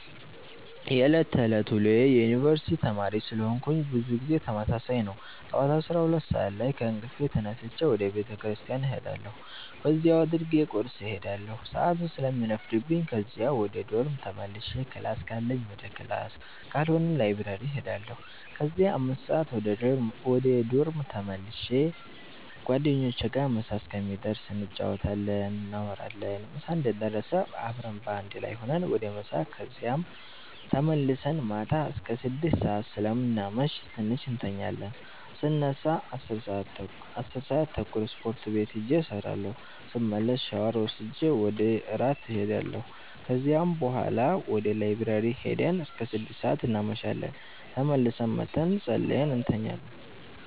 የዕለት ተዕለት ውሎዬ የዩነኒቨርስቲ ተማሪ ስለሆነኩ ብዙ ጊዜ ተመሳሳይ ነው። ጠዋት 12:00 ሰአት ከእንቅልፌ ተነስቼ ወደ ቤተክርስቲያን እሄዳለሁ በዚያው አድርጌ ቁርስ እሄዳለሁ ሰአቱ ስለሚረፍድብኝ ከዚያ ወደ ዶርም ተመልሼ ክላስ ካለኝ ወደ ክላስ ካልሆነ ላይብረሪ እሄዳለሁ ከዚያ 5:00 ወደ ዶርም ተመልሼ ጓደኞቼ ጋር ምሳ እስከሚደርስ እንጫወታለን፣ እናወራለን ምሳ እንደደረሰ አብረን በአንድ ላይ ሁነን ወደ ምሳ ከዚያም ተመልሰን ማታ አስከ 6:00 ሰአት ስለምናመሽ ትንሽ እንተኛለን ስነሳ 10:30 ስፖርት ቤት ሂጄ እሰራለሁ ስመለስ ሻወር ወስጄ ወደ እራት እሄዳለሁ ከዚያ ቡሀላ ወደ ላይብረሪ ሂደን እስከ 6:00 እናመሻለን ተመልሰን መተን ፀልየን እንተኛለን።